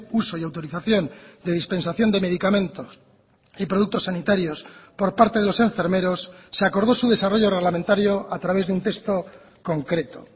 uso y autorización de dispensación de medicamentos y productos sanitarios por parte de los enfermeros se acordó su desarrollo reglamentario a través de un texto concreto